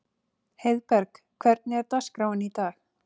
Heiðberg, hvernig er dagskráin í dag?